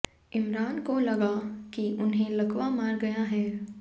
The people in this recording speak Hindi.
इमरान को लगा कि उन्हें लकवा मार गया है